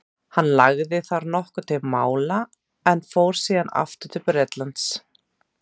hann lagði þar nokkuð til mála en fór síðan aftur til bretlands